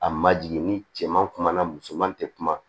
A ma jigin ni cɛ man kumana musoman tɛ kuma